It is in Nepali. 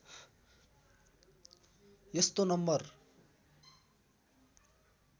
यस्तो नम्बर